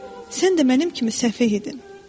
Sən də mənim kimi səfeh idin.